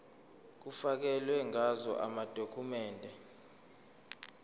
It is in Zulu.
kufakelwe ngazo amadokhumende